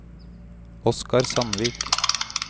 Oscar Sandvik